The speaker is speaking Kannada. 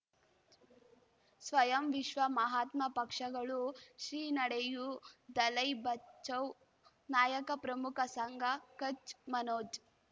ಸ್ವಯಂ ವಿಶ್ವ ಮಹಾತ್ಮ ಪಕ್ಷಗಳು ಶ್ರೀ ನಡೆಯೂ ದಲೈ ಬಚೌ ನಾಯಕ ಪ್ರಮುಖ ಸಂಘ ಕಚ್ ಮನೋಜ್